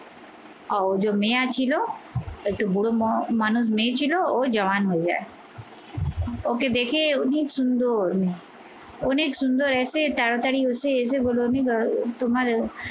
ছিল একটু বুড়ো মানুষ মেয়ে ছিল ও জওয়ান হয়ে যাই। ওকে দেখে উনি সুন্দর অনেক সুন্দর আছে, তাড়াতাড়ি এসে বোলো আহ তোমার আহ